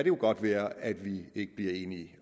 jo godt være at vi ikke bliver enige